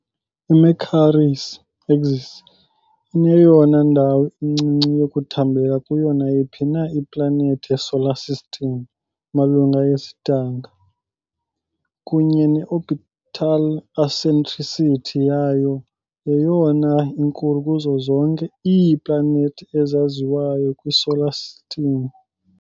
I-Mercury's axis ineyona ndawo incinci yokuthambeka kuyo nayiphi na iplanethi yeSolar System, malunga yesidanga, kunye ne -orbital eccentricity yayo yeyona inkulu kuzo zonke iiplanethi ezaziwayo kwiSolar System.